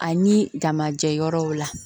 Ani damajɛ yɔrɔw la